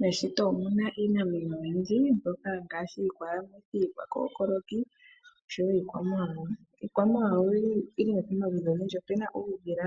Meshito omu na iinamwenyo oyindji mbyoka ngaashi iikookoloki, oshowoo iikwamawawa. Iikwamawawa oyi li pomaludhi ogendji ngaashi uudhila,